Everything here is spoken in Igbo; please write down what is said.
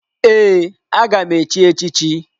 Ee, aga m echi echi chi.